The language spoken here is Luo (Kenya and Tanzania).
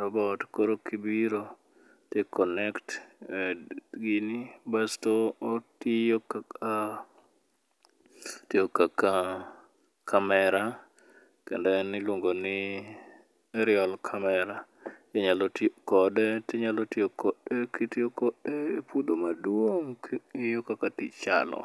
robot. Koro kibiro to i connect gini koro otiyo kaka camera kendo en iluongo ni [cs[airial camera inyalo ti ti kode ti kode epuodho maduong' king'iyo kaka tich chalo.